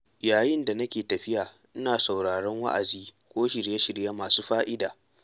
Yayin da nake tafiya ina sauraron wa’azi ko shirye-shirye masu fa’ida.